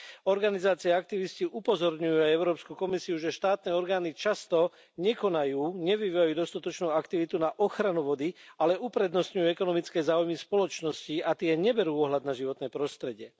Organizácie a aktivisti upozorňujú Európsku komisiu, že štátne orgány často nekonajú, nevyvíjajú dostatočnú aktivitu na ochranu vody, ale uprednostňujú ekonomické záujmy spoločností, a tie neberú ohľad na životné prostredie.